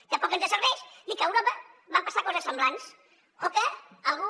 tampoc ens serveix dir que a europa van passar coses semblants o que algú